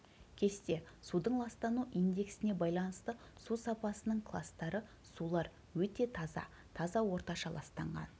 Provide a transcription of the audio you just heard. кесте судың ластану индексіне байланысты су сапасының кластары сулар өте таза таза орташа ластанған